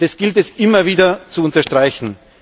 Das gilt es, immer wieder zu unterstreichen.